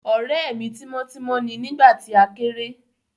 Ọ̀rẹ́ mi tímọ́ tímọ́ ni nígbà tí a kéré